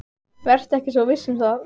Vertu ekki svo viss um það.